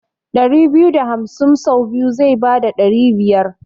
ɗari biyu da hamsin sau biyu zai bada ɗari biyar.